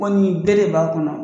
Kɔɲi bere b'a kɔnɔ